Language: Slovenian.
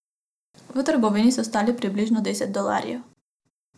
V trgovini so stali približno deset dolarjev.